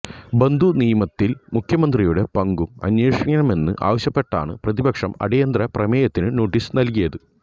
ബന്ധു നിയമനത്തിൽ മുഖ്യമന്ത്രിയുടെ പങ്കും അന്വേഷിക്കണമെന്ന് ആവശ്യപ്പെട്ടാണ് പ്രതിപക്ഷം അടിയന്തര പ്രമേയത്തിന് നോട്ടീസ് നൽകിയത്